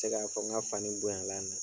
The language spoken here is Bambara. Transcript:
Te k'a fɔ ŋa fani bonyala na